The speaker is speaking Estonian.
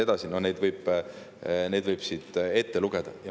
Neid võib siit ette lugeda.